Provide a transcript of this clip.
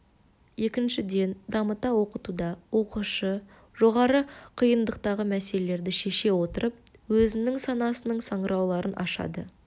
екіншіден дамыта оқытуда оқушы жоғары қиындықтағы мәселелерді шеше отырып өзінің санасының саңылауларын ашады